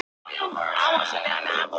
Samt var það ekki nóg.